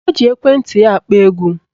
O ji ekwenti ya akpọ egwu